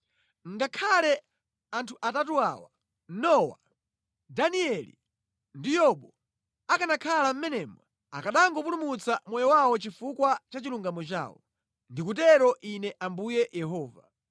Ngakhale anthu atatu awa, Nowa, Danieli ndi Yobu akanakhala mʼmenemo, akanangopulumutsa moyo wawo chifukwa cha chilungamo chawo. Ndikutero Ine Ambuye Yehova.